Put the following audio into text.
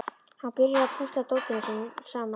Hann byrjar að púsla dótinu saman.